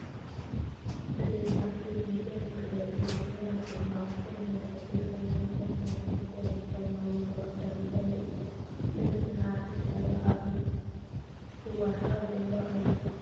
እዘን ኣብ ፊት ሚድያ መግለፂ ዝህባ ዘለዋ ሰብ ናይ ኣዲስ ኣባባ ከተማ ከንቲባ ዝኾና ወይዘሮ ኣዳነች ኣበቤ እየን፡፡ እዘን ንኣዲስ ኣባባ ኣብ ምፅባቕ ዝዋስኣ ዘለዋ እየን፡፡